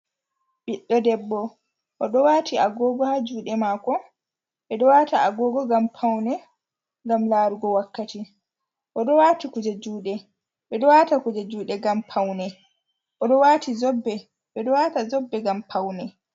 Biɗɗo debbo o ɗo wati Agogo ha juɗe mako ɓe ɗo wata Agogo ngam paune ngam larugo wakkati okuje juɗe ɓe ɗo wata kuje juɗe ngam paune ɗo wati zobe ɓe ɗo wata zobe ngam paune.